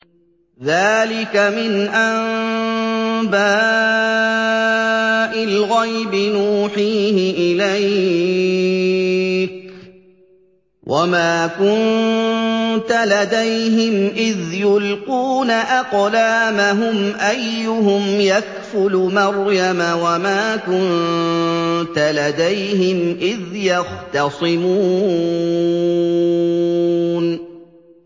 ذَٰلِكَ مِنْ أَنبَاءِ الْغَيْبِ نُوحِيهِ إِلَيْكَ ۚ وَمَا كُنتَ لَدَيْهِمْ إِذْ يُلْقُونَ أَقْلَامَهُمْ أَيُّهُمْ يَكْفُلُ مَرْيَمَ وَمَا كُنتَ لَدَيْهِمْ إِذْ يَخْتَصِمُونَ